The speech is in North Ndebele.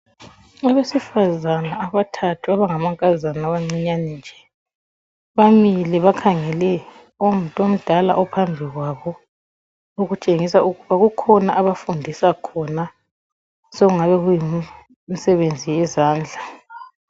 Abesifazane abathathu abangamankazana amancinyane nje, bamile bakhangele ongumuntu omdala ophambi kwabo, okutshengisa ukuba kukhona abafundisa khona okungaba yimsebenzi yezandla.